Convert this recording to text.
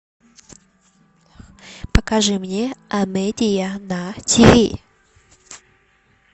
покажи мне амедия на тв